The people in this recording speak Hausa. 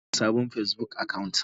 Dauda bude sabon Facebook account.